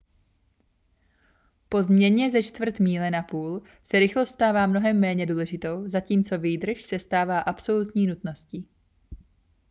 po změně ze čtvrt míle na půl se rychlost stává mnohem méně důležitou zatímco výdrž se stává absolutní nutností